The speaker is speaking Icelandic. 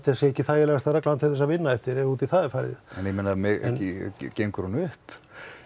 ekki þægilegasta reglan til að vinna eftir ef út í það er farið en gengur hún upp